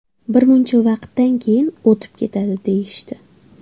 Bir muncha vaqtdan keyin o‘tib ketadi, deyishdi.